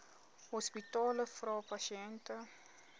hospitale vra pasiënte